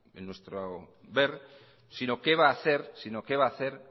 en nuestro ver sino qué va a hacer